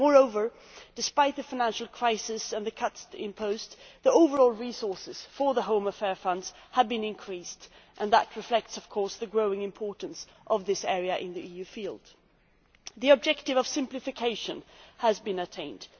Moreover, despite the financial crisis and the cuts imposed, the overall resources for the home affairs funds have been increased, and that reflects the growing importance of this field to the EU. The objective of simplification has been attained.